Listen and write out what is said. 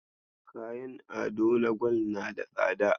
Kayan ado na gwal na da tsada.